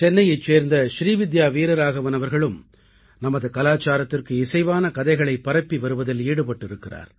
சென்னையைச் சேர்ந்த ஸ்ரீவித்யா வீரராகவன் அவர்களும் நமது கலாச்சாரத்திற்கு இசைவான கதைகளைப் பரப்பி வருவதில் ஈடுபட்டிருக்கிறார்